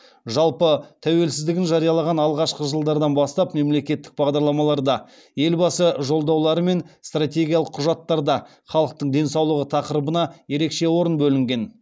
жалпы тәуелсіздігін жариялаған алғашқы жылдардан бастап мемлекеттік бағдарламаларда елбасы жолдаулары мен стратегиялық құжаттарда халықтың денсаулығы тақырыбына ерекше орын бөлінген